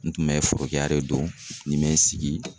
N tun bɛ forokiya de don nin bɛ n sigi.